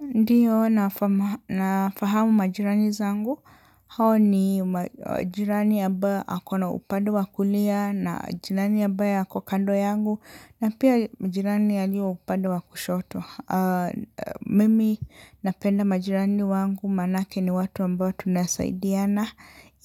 Ndio, nafahamu majirani zangu. Hao ni majirani ambaye ako na upande wa kulia na jirani ambaye ako kando yangu na pia majirani walio upande wa kushoto. Mimi napenda majirani wangu maanake ni watu ambao tunasaidiana